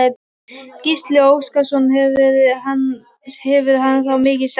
Gísli Óskarsson: Hvað hefur hann þá mikinn séns?